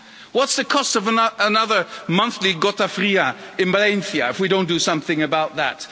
What's the cost of another monthly gota fria in Valencia if we don't do something about that?